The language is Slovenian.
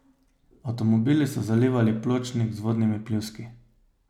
Avtomobili so zalivali pločnik z vodnimi pljuski.